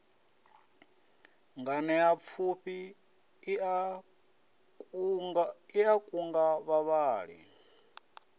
nganeapfufhi i a kunga vhavhali